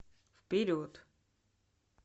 вперед